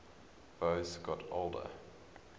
boas got older